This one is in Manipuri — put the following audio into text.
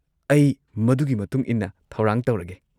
ꯑꯩ ꯃꯗꯨꯒꯤ ꯃꯇꯨꯡ ꯏꯟꯅ ꯊꯧꯔꯥꯡ ꯇꯧꯔꯒꯦ꯫